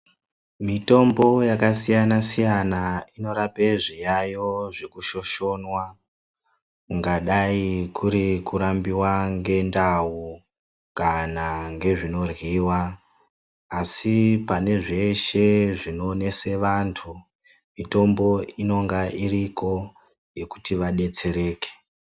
Mitombo yakasiyana-siyana inorape zviyaiyo zvekushoshonwa kungadayi kuri kurambiwa ngendau kana ngezvinoryiwa. Asi pane zveshe zvinonesa vantu, mitombo inenge iriko yekuti vadetsereke.